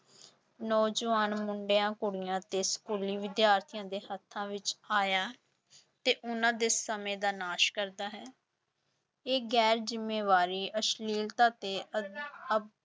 ਨੌਜਵਾਨ ਮੁੰਡਿਆਂ, ਕੁੜੀਆਂ ਤੇ ਸਕੂਲੀ ਵਿਦਿਆਰਥੀਆਂ ਦੇ ਹੱਥਾਂ ਵਿੱਚ ਆਇਆ ਤੇ ਉਹਨਾਂ ਦੇ ਸਮੇਂ ਦਾ ਨਾਸ ਕਰਦਾ ਹੈ ਇਹ ਗੈਰ ਜ਼ਿੰਮੇਵਾਰੀ, ਅਸ਼ਲੀਲਤਾ ਤੇ ਅ~ ਅਹ